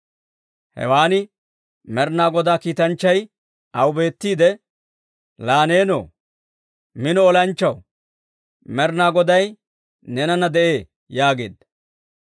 Hewan Med'inaa Godaa kiitanchchay aw beettiide, «Laa nenoo, mino olanchchaw, Med'inaa Goday neenana de'ee» yaageedda.